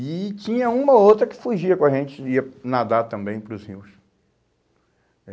E tinha uma ou outra que fugia com a gente, e ia nadar também para os rios.